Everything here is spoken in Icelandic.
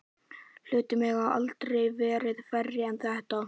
Hlutir mega aldrei verða færri en þetta.